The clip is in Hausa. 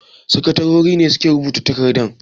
Sakatarori ne suke rubuta takardan.